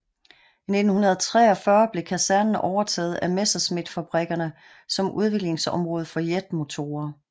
I 1943 blev kasernen overtaget af Messerschmittfabrikkerne som udviklingsområde for jetmotorer